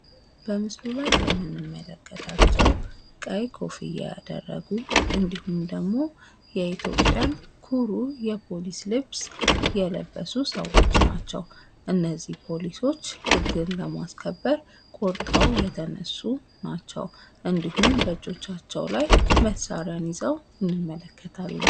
በምስሉ ላይ የምንመለከታቸው ቀይ ኮፍያ ያደረጉ ኢንዲሁም የኢትዮጵያን ኩሩ የፖሊስ ልብስ የለበሱ ሰዎች ናቸው። እነዚህ ፖሊሶች ህግን ለማስከበር ቆርጠው የተነሱ ናቸው። እንዲሁም በእጆቻቸው መሳሪያ ይዘዋል።